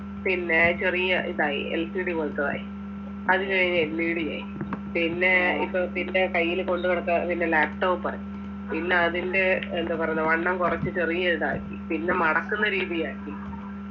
പിന്നെ ചെറിയ ഇതായി LCD പോലത്തതായി അത് കഴിഞ്ഞ് LED ആയി പിന്നെ ഇപ്പൊ പിന്നെ കയ്യില് കൊണ്ടു നടക്ക പിന്നെ laptop ആയി ഇന്ന് അതിൻ്റെ എന്താ പറയണേ വണ്ണം കുറച്ച് ചെറിയ ഇതാക്കി പിന്നെ മടക്കുന്ന രീതിയാക്കി